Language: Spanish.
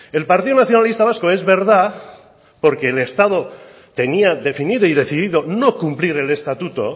el partido nacionalista vasco es verdad porque el estado tenía definido y decidido no cumplir el estatuto